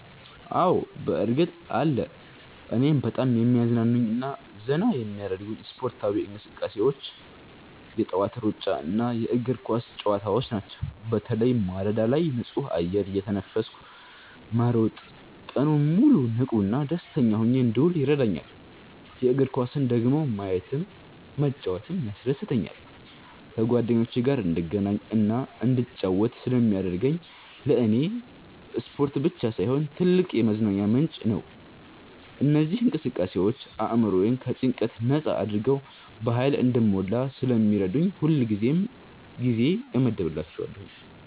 አዎ፣ በእርግጥ አለ! እኔን በጣም የሚያዝናኑኝና ዘና የሚያደርጉኝ ስፖርታዊ እንቅስቃሴዎች የጠዋት ሩጫና የእግር ኳስ ጨዋታዎች ናቸው። በተለይ ማለዳ ላይ ንጹህ አየር እየተነፈስኩ መሮጥ ቀኑን ሙሉ ንቁና ደስተኛ ሆኜ እንድውል ይረዳኛል። የእግር ኳስን ደግሞ ማየትም መጫወትም ያስደስተኛል። ከጓደኞቼ ጋር እንድገናኝና እንድጫወት ስለሚያደርገኝ ለኔ ስፖርት ብቻ ሳይሆን ትልቅ የመዝናኛ ምንጭ ነው። እነዚህ እንቅስቃሴዎች አእምሮዬን ከጭንቀት ነጻ አድርገው በሃይል እንድሞላ ስለሚረዱኝ ሁሌም ጊዜ እመድብላቸዋለሁ።